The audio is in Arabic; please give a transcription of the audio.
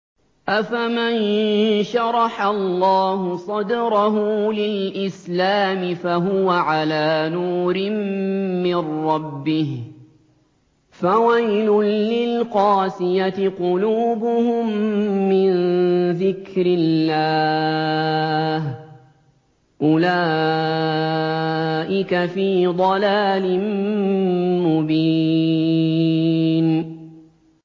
أَفَمَن شَرَحَ اللَّهُ صَدْرَهُ لِلْإِسْلَامِ فَهُوَ عَلَىٰ نُورٍ مِّن رَّبِّهِ ۚ فَوَيْلٌ لِّلْقَاسِيَةِ قُلُوبُهُم مِّن ذِكْرِ اللَّهِ ۚ أُولَٰئِكَ فِي ضَلَالٍ مُّبِينٍ